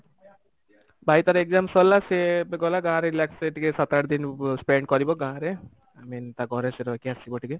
ଭାଇ ତାର exam ସରିଲା ସେ ଏବେ ଗଲା ଗାଁରେ relax ହେଇକି ଟିକେ ସାତ ଆଠ ଦିନ spend କରିବ ଗାଁରେ i mean ତା ଘରେ ସେ ରହିକି ଆସିବ ଟିକେ